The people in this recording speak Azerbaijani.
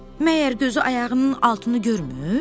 Məyər gözü ayağının altını görmür?